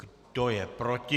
Kdo je proti?